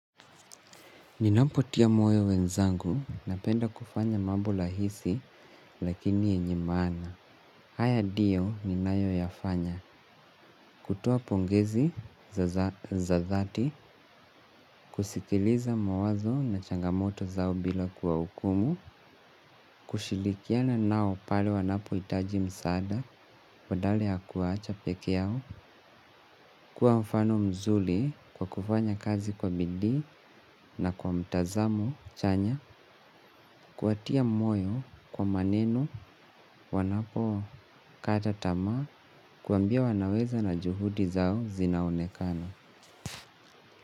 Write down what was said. Ninapotia moyo wenzangu napenda kufanya mambo rahisi lakini yenye maana. Haya ndio ninayo yafanya. Kutoa pongezi za thati, kusikiliza mawazo na changamoto zao bila kuwa hukumu, kushirikiana nao pale wanapo hitaji msaada, badala ya kuwaacha pekee yao, kuwa mfano mzuri kwa kufanya kazi kwa bidii na kwa mtazamo chanya, kuwatia moyo kwa maneno wanapo kata tamaa kuwambia wanaweza na juhudi zao zinaonekana.